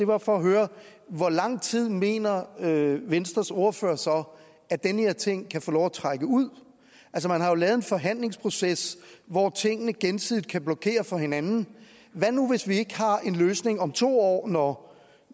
var for at høre hvor lang tid mener venstres ordfører så at den her ting kan få lov at trække ud man har jo lavet en forhandlingsproces hvor tingene gensidigt kan blokere for hinanden hvad nu hvis vi ikke har en løsning om to år når